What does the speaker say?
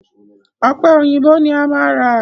Ọ̀pẹ èyìǹbó ni máa ra.